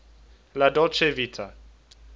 la dolce vita